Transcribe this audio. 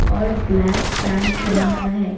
और black pant पहना है।